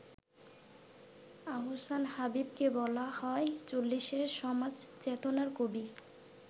আহসান হাবীবকে বলা হয় চল্লিশের সমাজ চেতনার কবি।